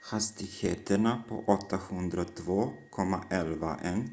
hastigheterna på 802.11n